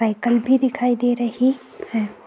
Cycle भी दिखाई दे रही है।